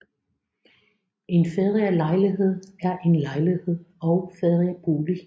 En ferielejlighed er en lejlighed og feriebolig